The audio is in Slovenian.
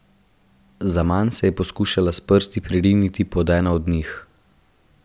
Zaman se je poskušala s prsti pririniti pod eno od njih.